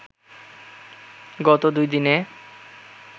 গত দুইদিনে